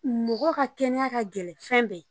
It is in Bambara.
Mɔgɔ ka kɛnɛya ka gɛlɛn fɛn bɛɛ ye.